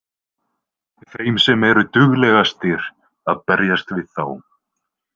Þeim sem eru duglegastir að berjast við þá.